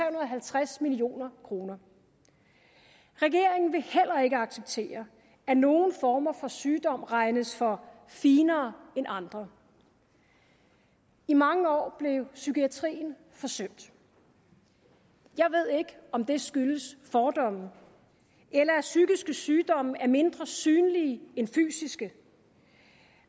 og halvtreds million kroner regeringen vil heller ikke acceptere at nogle former for sygdom regnes for finere end andre i mange år blev psykiatrien forsømt jeg ved ikke om det skyldes fordomme eller at psykiske sygdomme er mindre synlige end fysiske